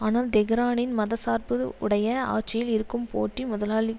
ஆனால் தெஹ்ரானின் மதசார்பு உடைய ஆட்சியில் இருக்கும் போட்டி முதலாளித்